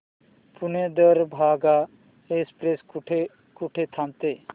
Pune Darbhanga express कुठे कुठे थांबते